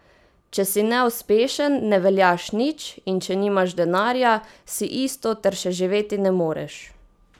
Če si neuspešen, ne veljaš nič, in če nimaš denarja, si isto ter še živeti ne moreš.